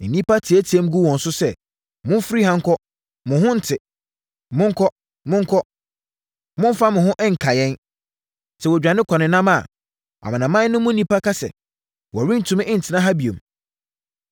Nnipa teateaam gu wɔn so sɛ, “Momfiri ha nkɔ! Mo ho nnte! Monkɔ, monkɔ! Mommfa mo ho nka yɛn.” Sɛ wɔdwane kɔnenam a amanaman no mu nnipa ka sɛ, “Wɔrentumi ntena ha bio.”